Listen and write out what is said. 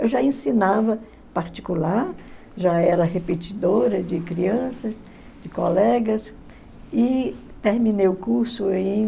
Eu já ensinava particular, já era repetidora de crianças, de colegas, e terminei o curso em